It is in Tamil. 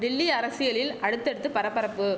டெல்லி அரசியலில் அடுத்தடுத்து பரபரப்பு